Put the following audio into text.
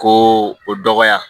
Ko o dɔgɔya